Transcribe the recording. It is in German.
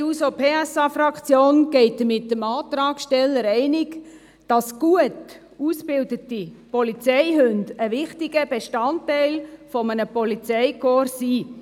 Die SP-JUSO-PSA-Fraktion ist mit dem Antragsteller insofern einig, als gut ausgebildete Polizeihunde ein wichtiger Bestandteil eines Polizeikorps sind.